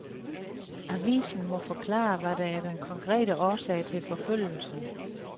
Avisen må forklare, hvad der er den konkrete årsag til forfølgelsen.